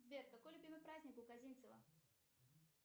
сбер какой любимый праздник у козинцева